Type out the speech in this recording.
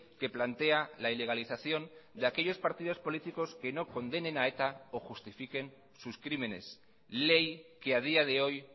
que plantea la ilegalización de aquellos partidos políticos que no condenen a eta o justifiquen sus crímenes ley que a día de hoy